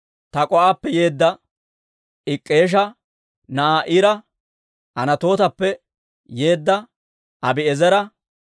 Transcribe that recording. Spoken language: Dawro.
Tak'o"appe yeedda Ik'k'eesha na'aa Ira, Anatootappe yeedda Abi'eezera,